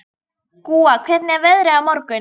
Gúa, hvernig er veðrið á morgun?